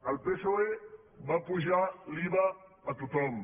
el psoe va apujar l’iva a tothom